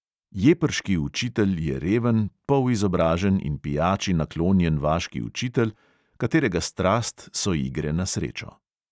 Jeprški učitelj je reven, polizobražen in pijači naklonjen vaški učitelj, katerega strast so igre na srečo.